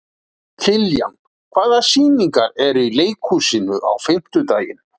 Kiljan, hvaða sýningar eru í leikhúsinu á fimmtudaginn?